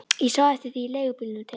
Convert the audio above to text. Ég sá eftir því í leigubílnum til